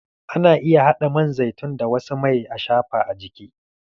Ana iya haɗa man zaitun da wasu mai ashafa a jiki.